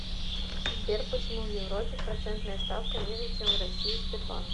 сбер почему в европе процентная ставка ниже чем в россии сбербанк